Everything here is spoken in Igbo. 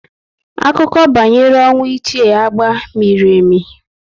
Akụkọ banyere ọnwụ Ichie Agba miri emi